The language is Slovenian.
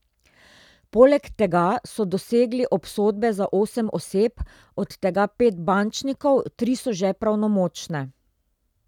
Poleg tega so dosegli obsodbe za osem oseb, od tega pet bančnikov, tri so že pravnomočne.